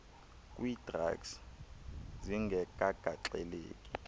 kwii drugs zingekagaxeleki